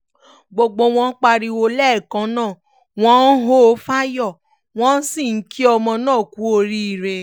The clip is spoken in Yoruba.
gbogbo wọn pariwo lẹ́ẹ̀kan náà wọ́n ń hó fún ayọ̀ wọ́n sì ń kí ọmọ náà kú oríire